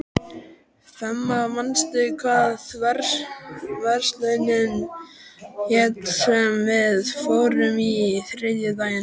Fema, manstu hvað verslunin hét sem við fórum í á þriðjudaginn?